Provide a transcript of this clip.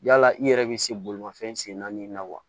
Yala i yɛrɛ bɛ se bolimafɛn sen naani ma wa